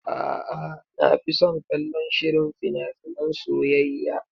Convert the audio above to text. A'a, na fi son kallon shirin fina finan soyayya.